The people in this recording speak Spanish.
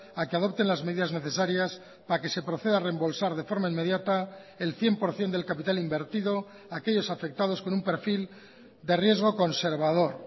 a que adopten las medidas necesarias para que se proceda a rembolsar de forma inmediata el cien por ciento del capital invertido a aquellos afectados con un perfil de riesgo conservador